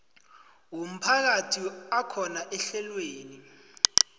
womphakathi akhona ehlelweni